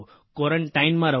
ક્વોરન્ટાઇનમાં રહો